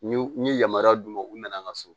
N ye yamaruya d'u ma u nana an ka so